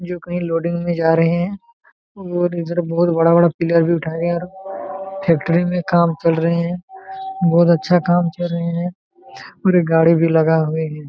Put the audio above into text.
जो कही लोडिंग मे जा रहे है और इधर बहुत बड़ा बड़ा पिलर भी उठाए है और फैक्ट्री मे काम चल रहे है बहुत अच्छा काम चल रहे है और गाड़ी भी लगा हुए हैं।